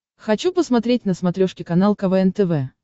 хочу посмотреть на смотрешке канал квн тв